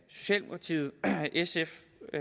socialdemokratiet sf